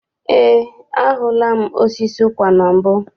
Eé, ahụla m osisi ụkwa na mbụ.